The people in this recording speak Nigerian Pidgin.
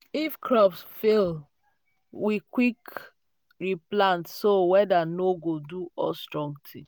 if crop fail we quick replant so weather no go do us strong thing.